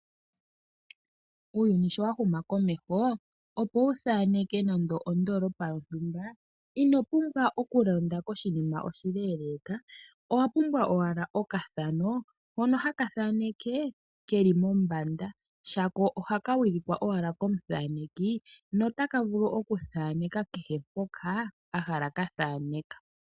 Uuyuni sho wa huma komeho, opo wuthaneke nande ondolopa yontumba ino lumbwa oku londa koshinima oshile ndele owa pumbwa owala okathano hono haka thaneke keli mombanda shako ohaka wilikwa owala komuthaneki notaka vulu okuthaneka kehempoka ahala ka thaneka.